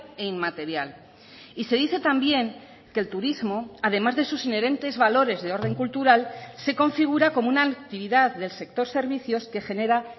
e inmaterial y se dice también que el turismo además de sus inherentes valores de orden cultural se configura como una actividad del sector servicios que genera